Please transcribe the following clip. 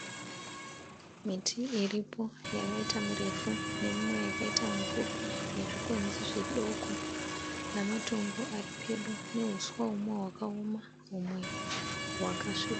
Miti riripo yakaita mirefu nemumwe yakaita mipfupi nezvikwenzi zvidoko nematomo ari pedo neuswa humwe hwakaoma humwe hwakasvibira